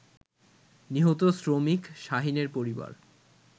নিহত শ্রমিক শাহীনের পরিবার